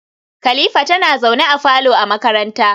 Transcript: kalifa tana zaune a falo a makaranta